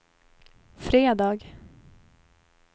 fredag